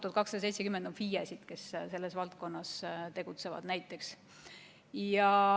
1270 on FIE-sid, kes selles valdkonnas tegutsevad.